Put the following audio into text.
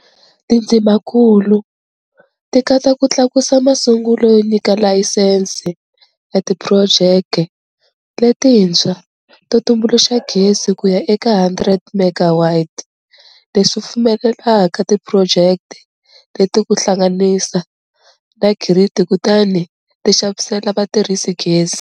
Tindzimakulu ti katsa ku tlakusa masungulweni ka layisense ya tiphurojeke letintshwa to tumbuluxa gezi kuya eka 100MW, leswi pfumelelaka tiphurojeke leti ku hlanganisa na giridi kutani ti xavisela vatirhisi gezi.